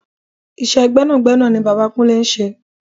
Iṣẹ́ gbẹ́nàgbẹ́nà ni bàbá Kúnlé ń ṣe.